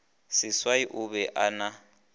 seswai o be a na